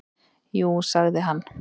"""Jú, sagði hann."""